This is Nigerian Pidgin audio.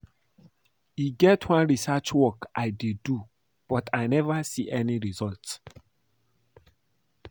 E get one research work I dey do but I never see any result